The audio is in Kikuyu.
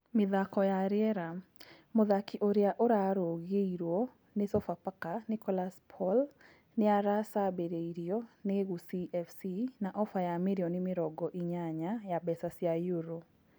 (Mĩthako ya rĩera) Mũthaki ũrĩa ũrarũngirwo nĩ Sofapaka Nicholas Paul nĩ aracambĩrĩirio nĩ Gusii FC na ofa ya mirioni mĩrongo inyanya ya mbeca cia euro.